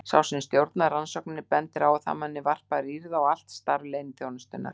Sá sem stjórnar rannsókninni bendir á að það muni varpa rýrð á allt starf leyniþjónustunnar.